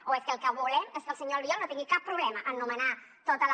o és que el que volem és que el senyor albiol no tingui cap problema en nomenar tota la